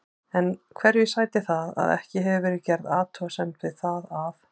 En hverju sætir það að ekki hefur verið gerð athugasemd við það að